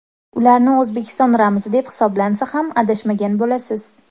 Ularni O‘zbekiston ramzi deb hisoblansa ham adashmagan bo‘lasiz.